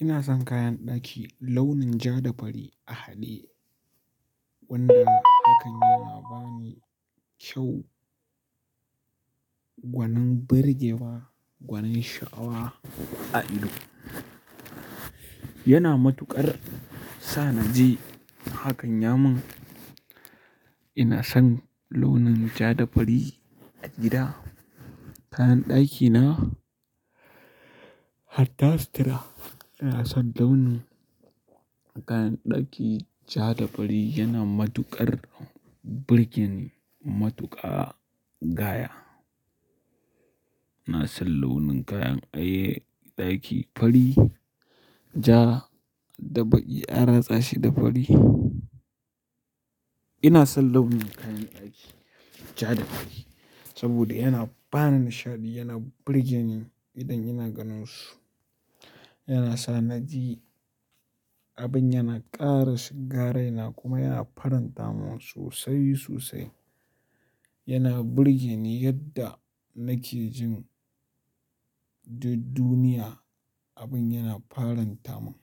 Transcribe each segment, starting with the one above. Ina son kayan ɗaki launin ja da fari a haɗe, wanda hakan yana ba ni kyau. Gwanin birgewa, gwanin sha'awa a ido. Yana matuƙar sa na ji hakan ya mun. Ina son launin ja da fari a gida. Kayan ɗakina hatta situra ina son launin Kayan ɗaki ja da fari yana matuƙar birgeni, matuƙa gaya. Ina son launin kayan ai ɗaki fari, ja da baƙi, a ratsa shi da fari. Ina son launin kayan ɗaki ja da fari saboda yana bani nishaɗi, yana birgeni idan ina ganin su. Yana sa na ji abin yana ƙara shiga raina kuma yana faranta mun sosai sosai. Yana birgeni yadda nake jin duk duniya, abin yana faranta mun.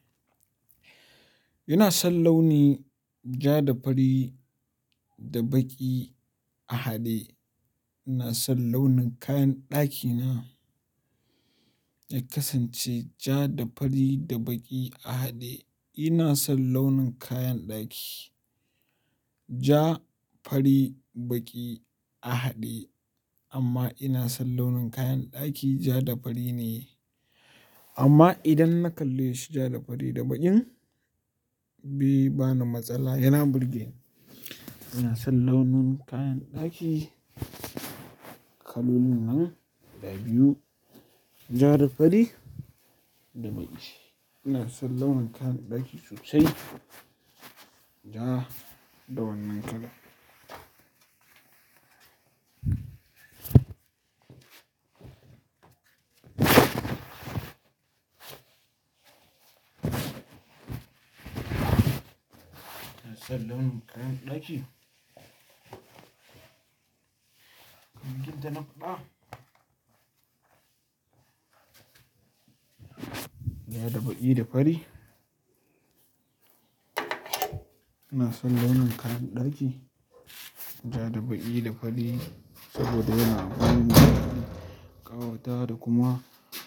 Ina son launi ja da fari da baƙi a haɗe. Ina son launin kayan ɗakina ya kasance ja da fari da baƙi a haɗe. Ina son launin kayan ɗaki ja, fari, baƙi a haɗe. Amma ina son launin kayan ɗaki ja da fari ne. Amma idan na kalle shi ja da fari da baƙin bai bani matsala, yana birge ni. Ina son launin kayan ɗaki kalolin nan guda biyu, ja da fari da baƙi. Ina son launin kayan ɗaki sosai ja da wannan kala. Ina son launin kayan ɗaki kamar yadda na fada. Ja da baƙi da fari. Ina son launin kayan ɗaki ja da baƙi da fari saboda yana ba ni nishaɗi, ƙawatawa da kuma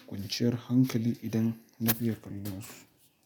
ƙwanciyar hankali idan na fiiye kallonsu.